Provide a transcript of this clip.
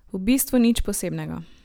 V bistvu nič posebnega.